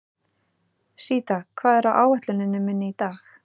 Síta, hvað er á áætluninni minni í dag?